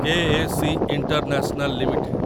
K A C international limited